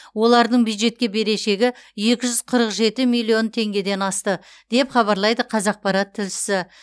олардың бюджетке берешегі екі жүз қырық жеті миллион теңгеден асты деп хабарлайды қазақпарат тілшісі